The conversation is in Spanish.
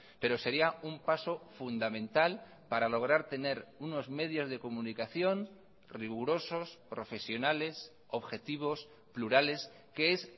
pero sería un paso fundamental para lograr tener unos medios de comunicación rigurosos profesionales objetivos plurales que es